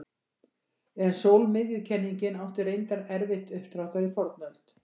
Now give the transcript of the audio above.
En sólmiðjukenningin átti reyndar erfitt uppdráttar í fornöld.